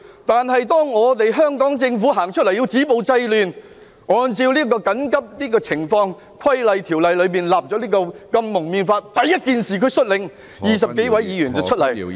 但是，當香港政府出來止暴制亂，按照《緊急情況規例條例》訂立《禁止蒙面規例》，他第一時間率領20多位議員出來......